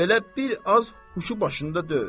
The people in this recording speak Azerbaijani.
Belə bir az huşu başında deyil.